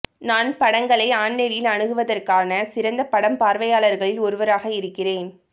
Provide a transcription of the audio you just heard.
நான் படங்களை ஆன்லைனில் அணுகுவதற்கான சிறந்த படம் பார்வையாளர்களில் ஒருவராக இருக்கிறேன்